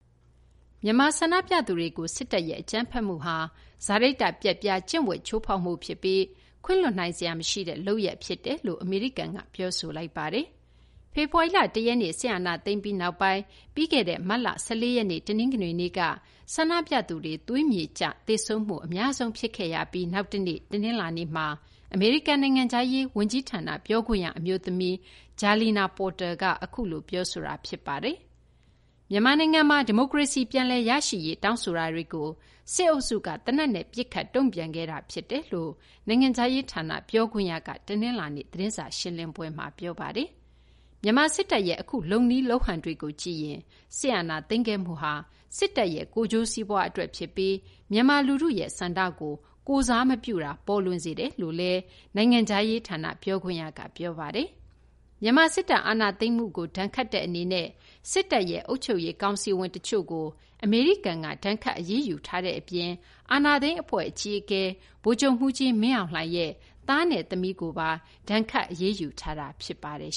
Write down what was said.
မြန်မာ ဆန္ဒပြသူတွေကို စစ်တပ်ရဲ့ အကြမ်းဖက်မှုဟာ စာရိတ္တပျက်ပြား ကျင့်ဝတ် ချိုးဖောက်မှု ဖြစ်ပြီး ခွင့်လွှတ်နိုင်စရာ မရှိတဲ့ လုပ်ရပ် ဖြစ်တယ်လို့ အမေရိကန်က ပြောဆိုလိုက်ပါတယ်။ ဖေဖော်ဝါရီလ ၁ ရက်နေ့ စစ်အာဏာသိမ်းပြီးနောက်ပိုင်း ပြီးခဲ့တဲ့ မတ်လ ၁၄ ရက်နေ့ တနင်္ဂနွေနေ့က ဆန္ဒပြသူတွေ သွေးမြေကျ သေဆုံးမှု အများဆုံးဖြစ်ခဲ့ရပြီးနောက်တနေ့ တနလာၤနေ့မှာဘဲ အမေရိကန် နိုင်ငံခြားရေး ဝန်ကြီးဌာန ပြောခွင့်ရ အမျိုးသမီး Jalina Porter က အခုလို ပြောဆိုတာ ဖြစ်ပါတယ်။ မြန်မာနိုင်ငံမှာ ဒီမိုကရေစီ ပြန်လည် ရရှိရေး တောင်းဆိုမှုတွေကို စစ်အုပ်စုက သေနတ်နဲ့ ပစ်ခတ် တုံ့ပြန်ခဲ့တာ ဖြစ်တယ်လို့ နိုင်ငံခြားရေး ဌာန ပြောခွင့်ရက တနလာၤနေ့ သတင်းစာ ရှင်းလင်းပွဲမှာ ပြောပါတယ်။ မြန်မာ စစ်တပ်ရဲ့ အခုလုပ်နည်း လုပ်ဟန်တွေကို ကြည့်ရင် စစ်အာဏာသိမ်းခဲ့မှုဟာ စစ်တပ်ရဲ့ ကိုယ်ကျိုးစီးပွားအတွက် ဖြစ်ပြီး မြန်မာ လူထုရဲ့ ဆန္ဒကို ကိုယ်စားမပြုတာကို ပေါ်လွင်စေတယ်လို့လည်း နိုင်ငံခြားရေး ဌာန ပြောခွင့်ရက ပြောဆိုထားပါတယ်။ မြန်မာ စစ်တပ် အာဏာသိမ်းမှုကို ဒဏ်ခတ်တဲ့ အနေနဲ့ စစ်တပ်ရဲ့ အုပ်ချုပ်ရေး ကောင်စီဝင် တချို့ကို အမေရိကန်က ဒဏ်ခတ် အရေးယူထားတဲ့ အပြင် အာဏာသိမ်း အဖွဲ့ အကြီးအကဲ ဗိုလ်ချုပ်မှူးကြီး မင်းအောင်လှိုင်ရဲ့ သမီးနဲ့ သားကိုပါ ဒဏ်ခတ် အရေးယူထားတာ ဖြစ်ပါတယ်